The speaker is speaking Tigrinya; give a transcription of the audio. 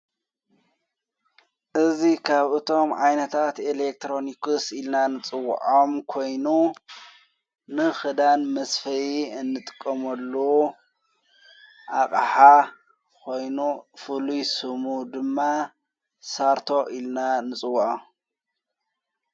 እዙይ ኻብ እቶም ዓይነታት ኤሌክትሮኒክስ ኢልና ንጽውዖም ኮይኑ ንኽዳን መስፈይ እንጥቆሞሉ ኣቐሓ ኾይኑ ፍሉይ ሱሙ ድማ ሳርቶ ኢልና ንጽዉዖ።